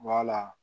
Wala